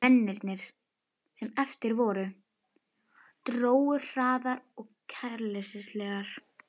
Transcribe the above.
Mennirnir, sem eftir voru, drógu hraðar og kæruleysislegar.